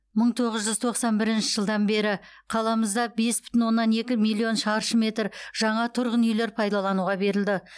мың тоғыз жүз тоқсан бірінші жылдан бері қаламызда бес бүтін оннан екі миллион шаршы метр жаңа тұрғын үйлер пайдалануға берілді